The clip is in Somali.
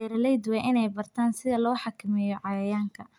Beeraleydu waa inay bartaan sida loo xakameeyo cayayaanka.